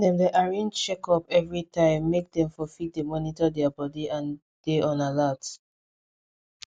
dem dey arrange checkups everytime make dem for fit dey monitor their body and dey on alert